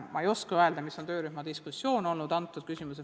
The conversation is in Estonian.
Ma ei oska öelda, milline on olnud töörühma diskussioon selles küsimuses.